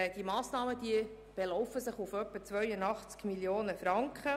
Diese Massnahmen belaufen sich auf rund 82 Mio. Franken.